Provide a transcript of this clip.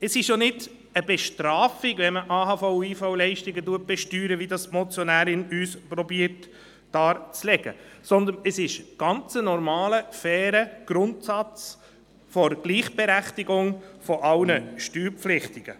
Es ist ja keine Bestrafung, wenn man AHV- und IV-Leistungen besteuert, wie es uns die Motionärin darzulegen versucht, sondern es ist ein ganz normaler, fairer Grundsatz der Gleichberechtigung aller Steuerpflichtigen.